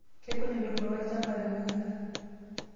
Kegol entumoto olchamba tenakata.